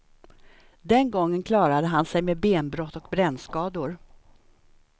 Den gången klarade han sig med benbrott och brännskador.